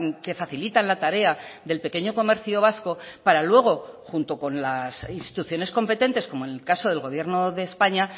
que facilitan la tarea del pequeño comercio vasco para luego junto con las instituciones competentes como en el caso del gobierno de españa